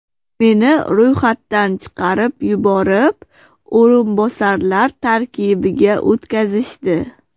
Meni ro‘yxatdan chiqarib yuborib, o‘rinbosarlar tarkibiga o‘tkazishdi.